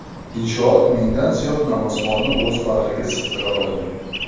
Inshoot mingdan ziyod namozxonni o‘z bag‘riga sig‘dira oladi.